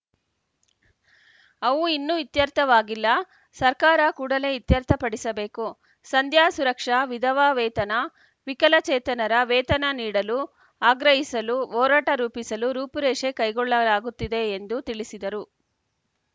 ಅವು ಇನ್ನೂ ಇತ್ಯರ್ಥವಾಗಿಲ್ಲ ಸರ್ಕಾರ ಕೂಡಲೇ ಇತ್ಯರ್ಥಪಡಿಸಬೇಕು ಸಂಧ್ಯಾಸುರಕ್ಷಾ ವಿಧವಾ ವೇತನ ವಿಕಲಚೇತನರ ವೇತನ ನೀಡಲು ಆಗ್ರಹಿಸಲು ಹೋರಾಟ ರೂಪಿಸಲು ರೂಪುರೇಷೆ ಕೈಗೊಳ್ಳಲಾಗುತ್ತಿದೆ ಎಂದು ತಿಳಿಸಿದರು